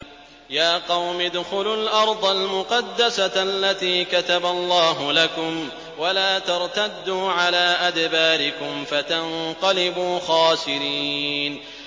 يَا قَوْمِ ادْخُلُوا الْأَرْضَ الْمُقَدَّسَةَ الَّتِي كَتَبَ اللَّهُ لَكُمْ وَلَا تَرْتَدُّوا عَلَىٰ أَدْبَارِكُمْ فَتَنقَلِبُوا خَاسِرِينَ